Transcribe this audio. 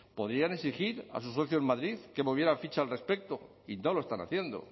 podrían exigir a su socio en madrid que moviera ficha al respecto y no lo están haciendo